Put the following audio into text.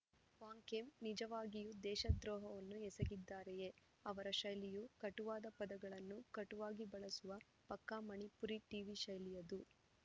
ವಾಂಗ್‌ಖೇಮ್‌ ನಿಜವಾಗಿಯೂ ದೇಶದ್ರೋಹವನ್ನು ಎಸಗಿದ್ದಾರೆಯೆ ಅವರ ಶೈಲಿಯು ಕಟುವಾದ ಪದಗಳನ್ನು ಕಟುವಾಗಿ ಬಳಸುವ ಪಕ್ಕಾ ಮಣಿಪುರಿ ಟೀವಿ ಶೈಲಿಯದು